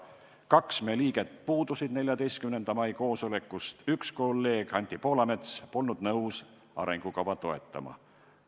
Kaks meie liiget puudusid 14. mai koosolekult, üks kolleeg, Anti Poolamets polnud nõus arengukava toetama.